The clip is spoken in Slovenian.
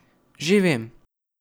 Že vem.